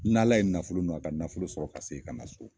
N'Ala ye nafolo nɔgɔya, ka nafolo sɔrɔ ka seki ka na so.